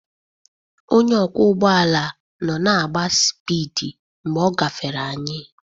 Onye ọkwọ ụgbọ ala nọ na-agba sipidi mgbe ọ gafere anyị.